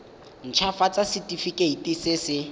nt hafatsa setefikeiti se se